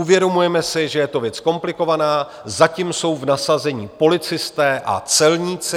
Uvědomujeme si, že je to věc komplikovaná, zatím jsou v nasazení policisté a celníci.